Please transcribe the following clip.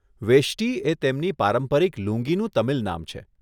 વેષ્ટિ એ તેમની પારંપરિક લુંગીનું તમિલ નામ છે.